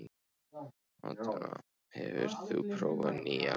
Atena, hefur þú prófað nýja leikinn?